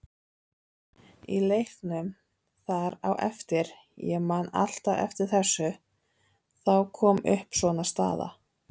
Í leiknum þar á eftir, ég man alltaf eftir þessu, þá kom upp svona staða.